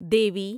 دیوی